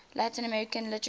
latin american literature